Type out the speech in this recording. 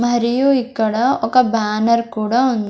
మరియు ఇక్కడ ఒక బ్యానర్ కూడా ఉన్--